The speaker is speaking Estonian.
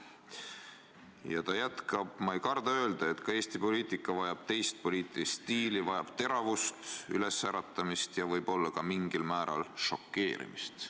" Ja ta jätkas, et ta ei karda öelda, et Eesti poliitika vajab teist poliitilist stiili, vajab teravust, ülesäratamist ja võib-olla ka mingil määral šokeerimist.